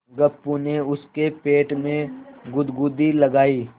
गप्पू ने उसके पेट में गुदगुदी लगायी